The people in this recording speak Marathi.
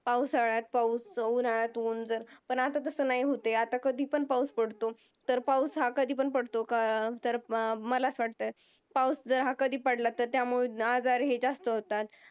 पावसाळ्यात पाऊस, उन्हाळयात ऊन जर पण आता तसं नाही होत आहे, आता कधीपण पाऊस पडतो, तर पाऊस हा कधीपण पडतो, तर मला असं वाटतं, पाऊस हा कधीपण पडला तर त्यामुळे आजार हे जास्त होतात.